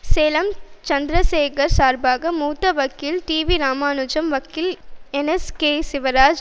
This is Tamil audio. சேலம் சந்திரசேகர் சார்பாக மூத்த வக்கீல் டிவிராமனுஜம் வக்கீல் என் எஸ்கேசிவராஜ்